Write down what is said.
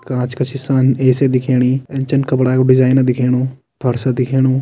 कांच का सिसान ए_सी दिखेणी ए चन कपडा को डिज़ाइन दिखेणु फर्श दिखेणु।